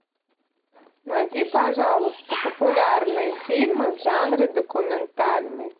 найди пожалуйста популярные фильмы в жанре документальный